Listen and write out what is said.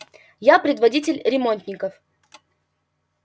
я предводитель ремонтников